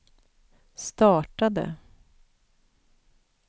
startade